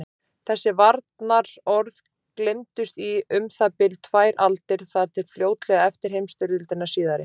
Þessi varnaðarorð gleymdust í um það bil tvær aldir, þar til fljótlega eftir heimsstyrjöldina síðari.